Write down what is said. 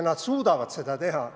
Nad suudavad seda teha.